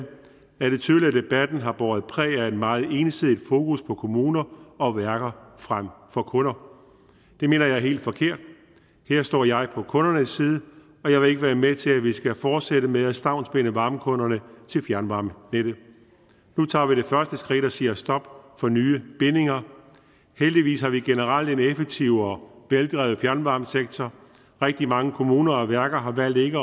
er det tydeligt at debatten har båret præg af et meget ensidigt fokus på kommuner og værker frem for kunder det mener jeg er helt forkert her står jeg på kundernes side og jeg vil ikke være med til at vi skal fortsætte med at stavnsbinde varmekunderne til fjernvarmenettet nu tager vi det første skridt og siger stop for nye bindinger heldigvis har vi generelt en effektiv og veldrevet fjernvarmesektor rigtig mange kommuner og værker har valgt ikke